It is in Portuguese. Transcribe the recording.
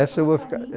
Essa eu vou ficar, é